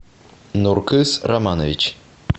нуркыз романович